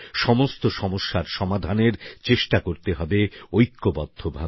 সমস্ত সমস্যার সমাধানের চেষ্টা করতে হবে ঐক্যবদ্ধভাবে